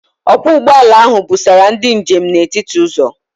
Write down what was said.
Ọkwọ ụgbọala ahụ busara ndị njem n'etiti ụzọ.